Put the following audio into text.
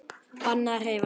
Bannað að hreyfa sig.